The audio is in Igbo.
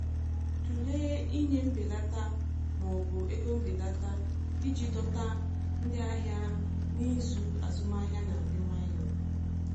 Tụlee ịnye mbelata ma ọ bụ ego mbelata iji dọta ndị ahịa n’izu azụmahịa na-adị nwayọ.